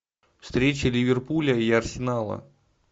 встреча ливерпуля и арсенала